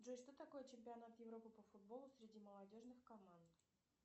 джой что такое чемпионат европы по футболу среди молодежных команд